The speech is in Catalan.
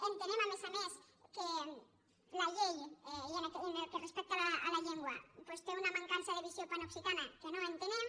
entenem a més a més que la llei i en el que respecta a la llengua doncs té una mancança de visió panoccitana que no entenem